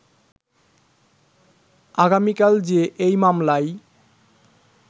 আগামিকাল যে এই মামলায়